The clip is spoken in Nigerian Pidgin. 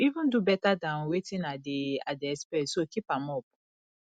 you even do beta dan wetin i dey i dey expect so keep am up